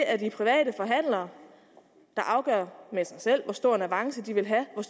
er de private forhandlere der afgør med sig selv hvor stor en avance de vil have og